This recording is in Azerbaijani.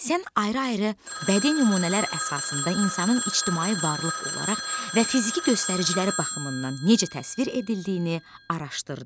Sən ayrı-ayrı bədii nümunələr əsasında insanın ictimai varlıq olaraq və fiziki göstəriciləri baxımından necə təsvir edildiyini araşdırdın.